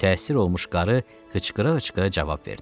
Mütəəssir olmuş qarı qışqıra-qışqıra cavab verdi.